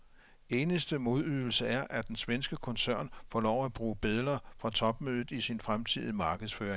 Eneste modydelse er, at den svenske koncern får lov at bruge billeder fra topmødet i sin fremtidige markedsføring.